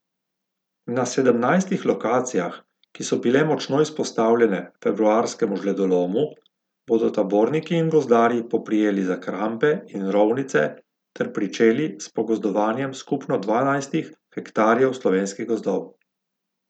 Na sedemnajstih lokacijah, ki so bile močno izpostavljene februarskemu žledolomu, bodo taborniki in gozdarji poprijeli za krampe in rovnice ter pričeli s pogozdovanjem skupno dvanajstih hektarjev slovenskih gozdov.